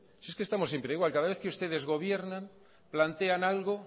si es que estamos siempre igual cada vez que ustedes gobiernan plantean algo